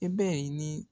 I bɛ ni